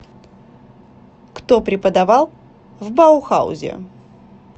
кто преподавал в баухаузе